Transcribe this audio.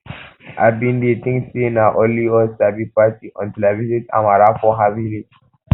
i bin dey think say na only us sabi party untill i visit amara for her village